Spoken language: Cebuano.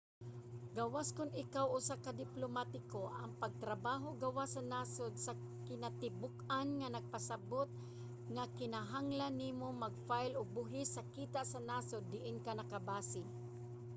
gawas kon ikaw usa ka diplomatiko ang pagtrabaho gawas sa nasod sa kinatibuk-an nagpasabot nga kinahanglan nimo mag-file og buhis sa kita sa nasod diin ka nakabase